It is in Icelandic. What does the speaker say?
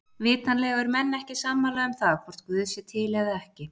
Vitanlega eru menn ekki sammála um það hvort guð sé til eða ekki.